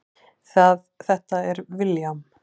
Þetta er William.